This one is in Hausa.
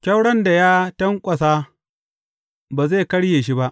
Kyauron da ya tanƙwasa ba zai karye shi ba.